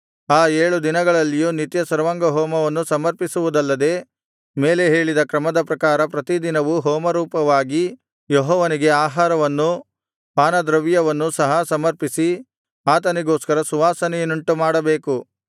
ಆ ಏಳು ದಿನಗಳಲ್ಲಿಯೂ ನಿತ್ಯ ಸರ್ವಾಂಗಹೋಮವನ್ನು ಸಮರ್ಪಿಸುವುದಲ್ಲದೆ ಮೇಲೆ ಹೇಳಿದ ಕ್ರಮದ ಪ್ರಕಾರ ಪ್ರತಿದಿನವೂ ಹೋಮರೂಪವಾಗಿ ಯೆಹೋವನಿಗೆ ಆಹಾರವನ್ನು ಪಾನದ್ರವ್ಯವನ್ನು ಸಹ ಸಮರ್ಪಿಸಿ ಆತನಿಗೋಸ್ಕರ ಸುವಾಸನೆಯನ್ನುಂಟುಮಾಡಬೇಕು